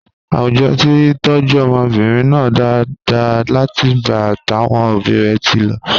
Àwùjọ ti tọ́jú ọmọbìnrin náà dáadáa látìgbà táwọn òbí rẹ̀ ti lọ.